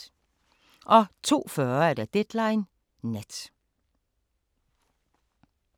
02:40: Deadline Nat